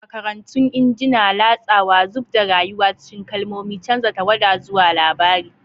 Makarantun injina, latsawa, zub da rayuwa cikin kalmomi, canza tawada zuwa labari.